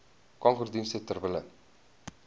kankerdienste ter wille